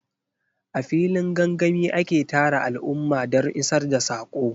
A filin gangami ake tara al'umma don isar da saƙo.